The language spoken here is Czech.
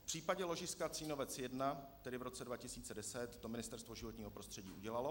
V případě ložiska Cínovec 1, tedy v roce 2010, to Ministerstvo životního prostředí udělalo.